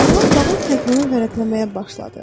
Kral qalan təqvimi vərəqləməyə başladı.